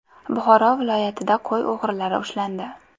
Buxoro viloyatida qo‘y o‘g‘rilari ushlandi.